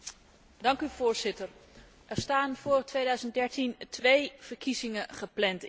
Er staan voor 2013 twee verkiezingen gepland in Zimbabwe.